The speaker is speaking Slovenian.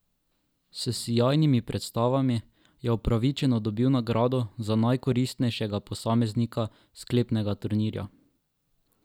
S sijajnimi predstavami je upravičeno dobil nagrado za najkoristnejšega posameznika sklepnega turnirja.